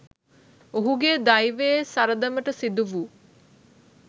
ඔහුගේ දෛවයේ සරදමට සිදුවූ